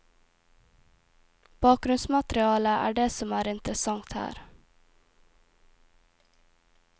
Bakgrunnsmaterialet er det som er interessant her.